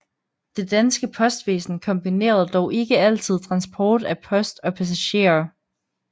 Det danske postvæsen kombinerede dog ikke altid transport af post og passagerer